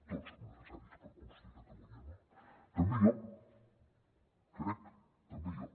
tots som necessaris per construir catalunya no també jo crec també jo